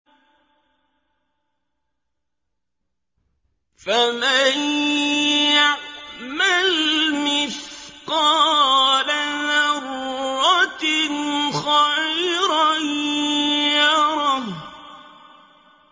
فَمَن يَعْمَلْ مِثْقَالَ ذَرَّةٍ خَيْرًا يَرَهُ